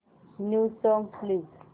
new songs please